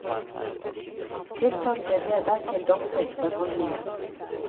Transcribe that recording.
Tiltalte ble dertil domfelt for handlingen.